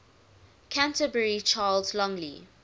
canterbury charles longley